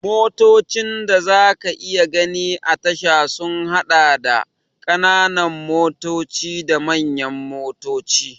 Motocin da za ka iya gani a tasha sun haɗa da, ƙananan motoci da manyan motoci.